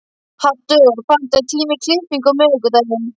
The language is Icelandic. Haddur, pantaðu tíma í klippingu á miðvikudaginn.